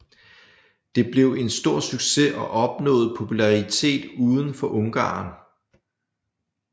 Det blev en stor succes og opnåede popularitet uden for Ungarn